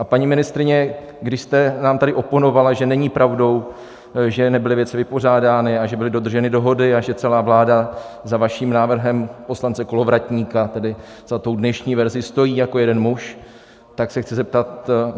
A paní ministryně, když jste nám tady oponovala, že není pravdou, že nebyly věci vypořádány, a že byly dodrženy dohody a že celá vláda za vaším návrhem, poslance Kolovratníka, tedy za tou dnešní verzí, stojí jako jeden muž, tak se chci zeptat.